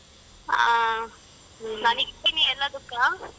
ಹಾ .